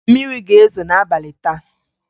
Mmiri ga-ezo n'abalị taa